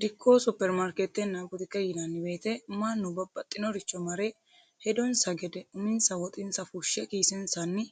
Dikko superimaarikeete butuke yinnanni woyete manu babaxinoricho mare hedonsa gede uminsa woxe fushe kiisensanni